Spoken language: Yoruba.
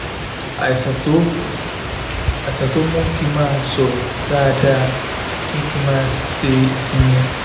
àìsàn tó àìsàn tó ń mú kí n máa sọ̀rọ̀ dáadáa ni kí n máa ṣe ìsinmi